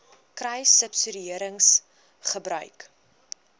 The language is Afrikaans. kruissubsidiëringgebruik